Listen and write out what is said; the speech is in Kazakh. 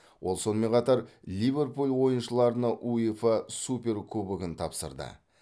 ол сонымен қатар ливерпуль ойыншыларына уефа суперкубогын тапсырды